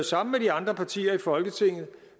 sammen med de andre partier i folketinget